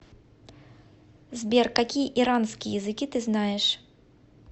сбер какие иранские языки ты знаешь